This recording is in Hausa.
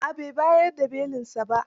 A'a bai bayar da belinsa ba.